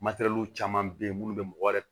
Matɛrɛliw caman be yen munnu be mɔgɔ wɛrɛ